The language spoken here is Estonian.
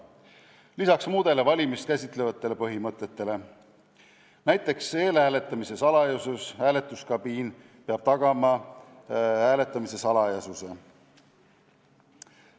Sellele lisanduvad muud valimist käsitlevad põhimõtted, näiteks eelhääletamise salajasus: hääletuskabiin peab tagama hääletamise salajasuse.